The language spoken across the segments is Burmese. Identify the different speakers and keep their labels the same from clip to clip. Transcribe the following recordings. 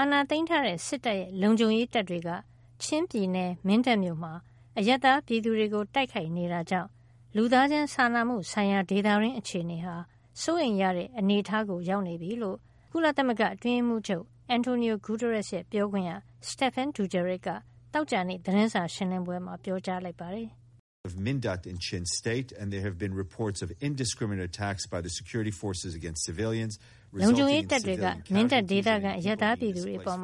Speaker 1: ာဏာသိမ်းထားတဲ့ စစ်တပ်ရဲ့ လုံခြုံရေးတပ်တွေက ချင်းပြည်နယ် မင်းတပ်မြို့မှာ အရပ်သားပြည်သူတွေကို တိုက်ခိုက်နေတာကြောင့် လူသားချင်းစာနာမှုဆိုင်ရာ ဒေသတွင်း အခြေနေဟာ စိုးရိမ်ရတဲ့ အနေထားရောက်နေပြီလို့ ကုလသမဂ္ဂအတွင်းရေးမှုးချုပ် Antonio Guterres ရဲ့ ပြောခွင့်ရ Stephane Dujarric က သောကြာနေ့ သတင်းစာရှင်းလင်းပွဲမှာ ပြောကြားလိုက်ပါတယ်။
Speaker 2: လုံခြုံရေးတပ်တွေက မ
Speaker 1: င်းတပ်ဒေသခံ အရပ်သားပြည်သူတွေအပေါ်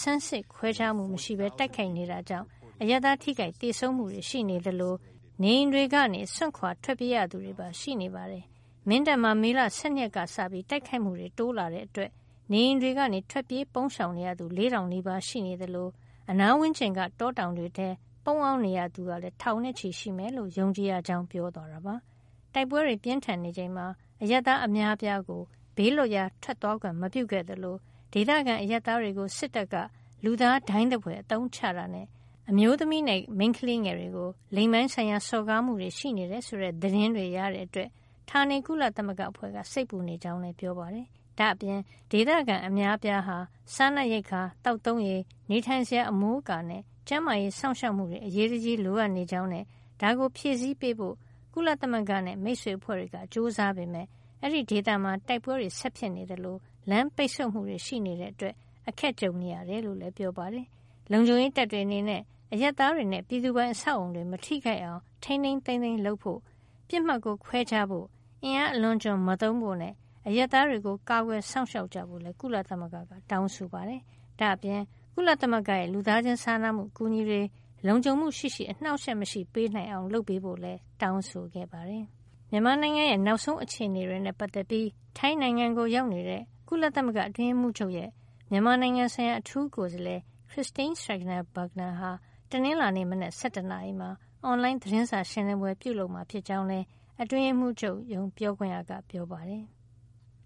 Speaker 1: ဆန်းစစ်ခွဲခြားမှုမရှိပဲ တိုက်ခိုက်နေတာကြောင့် အရပ်သားထိခိုက်သေဆုံးမှုတွေရှိနေသလို နေအိမ်တွေကို စွန့်ခွါထွက်ပြေးရသူတွေပါ ရှိနေပါတယ်။ မင်းတပ်မှာ မေလ ၁၂ ရက်နေ့ကစပြီး တိုက်ခိုက်မှုတွေ တိုးလာတဲ့အတွက် နေအိမ်တွေကနေ ထွက်ပြေးပုန်းရှောင်ရသူ ၄ ၀၀၀ နီးပါးရှိနေသလို အနားဝန်းကျင်က တောတောင်တွေထဲ ပုန်းအောင်နေရသူကလည်း ထောင်နဲ့ချီရှိမယ်လို့ ယုံကြည်ရကြောင်း ပြောသွားတာပါ။ တိုက်ပွဲတွေ ပြင်းထန်နေချိန်မှာ အရပ်သား အများအပြားကို ဘေးးလွတ်ရာထွက်သွားခွင့် မပြုခဲ့သလို ဒေသခံအရပ်သားတွေကို စစ်တပ်က လူသားဒိုင်းသဖွယ် အသုံးချတာနဲ့ အမျိုးသမီးနဲ့ မိန်းကလေးငယ်တွေကို လိင်ပိုင်းဆိုင်ရာ စော်ကားမှုတွေ ရှိနေတယ် ဆိုတဲ့ သတင်းတွေရတဲ့ အတွက် ဌာနေ ကုလသမဂ္ဂအဖွဲ့က စိတ်ပူနေကြောင်းလည်း ပြောပါတယ်။ ဒါ့အပြင် ဒေသခံ အများအပြားဟာ စားနပ်ရိက္ခာ၊ သောက်သုံးရေ၊ နေထိုင်စရာအမိုးအကာနဲ့ ကျန်းမာရေး စောင့်ရှောက်မှုတွေ အရေးတကြီး လိုအပ်နေကြောင်းနဲ့ ဒါကိုဖြည့်ဆည်းပေးဖို့ ကုလသမဂ္ဂနဲ့ မိတ်ဆွေအဖွဲ့တွေက ကြိုးစားပေမယ့် အဲဒီဒေသမှာ တိုက်ပွဲတွေ ဆက်ဖြစ်ပွါးနေသလို လမ်းပိတ်ဆို့မှုတွေ ရှိနေတာကြောင့် အခက်အခဲတွေ ကြုံနေရတယ်လို့လည်း ပြောပါတယ်။ လုံခြုံရေးတပ်တွေ အနေနဲ့ အရပ်သားတွေနဲ့ ပြည်သူပိုင် အဆောက်အအုံတွေ မထိခိုက်အောင် ထိန်းထိန်းသိမ်းသိမ်း လုပ်ဆောင်ဖို့နဲ့ ပစ်မှတ်ကို ခွဲခြားဖို့၊ အင်အားအလွန်အကျွံမသုံးဖို့နဲ့ အရပ်သားတွေကို ကာကွယ်စောင့်ရှောက်ကြဖို့လည်း ကုလသမဂ္ဂက တောင်းဆိုလိုက်ပါတယ်။ ဒါ့အပြင် ကုလသမဂ္ဂရဲ့ လူသားချင်းစာနာမှု အကူညီတွေ လုံခြုံမှုရှိရှိ အနှောက်အယှက်မရှိပေးနိုင် အောင် လုပ်ပေးဖို့လည်း တောင်းဆိုခဲ့ပါတယ်။ မြန်မာနိုင်ငံရဲ့ နောက်ဆုံးအခြေနေတွေနဲ့ ပတ်သက်ပြီး ထိုင်းနိုင်ငံကို ရောက်နေတဲ့ ကုလသမဂ္ဂ အတွင်းရေးမှုးချုပ်ရဲ့ မြန်မာနိုင်ငံဆိုင်ရာ အထူးကိုယ်စားလှယ် Christine Schraner Burgener ဟာ တနင်္လာနေ့ မနက် ၁၁ နာရီမှာ အွန်လိုင်းသတင်းစာ ရှင်းလင်းပွဲ ပြုလုပ်မှာ ဖြစ်ကြောင်းလည်း အတွင်းရေးမှုးချုပ် ပြောခွင့်ရက ပြောပါတယ်။